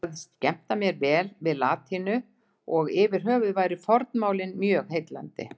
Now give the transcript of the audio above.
Ég sagðist skemmta mér vel við latínu og yfirhöfuð væru fornmálin mjög heillandi.